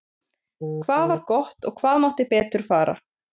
Hvað var gott og hvað mátti betur fara?